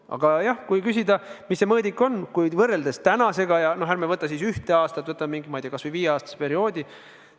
Aga kui küsida, mis see mõõdik on, siis ärme võtame võrdluseks ühte aastat, võtame kas või viieaastase perioodi.